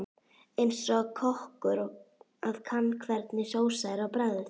Eins og kokkur að kanna hvernig sósa er á bragðið.